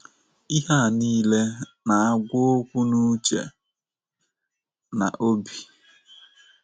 Ihe a nile na -agwa okwu n' uche na obi.